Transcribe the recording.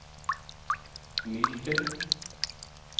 Myken